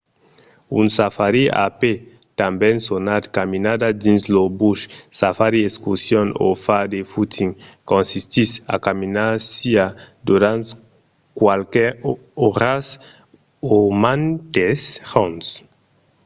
un safari a pè tanben sonat caminada dins lo bush safari excursion o far de footing consistís a caminar siá durant qualques oras o mantes jorns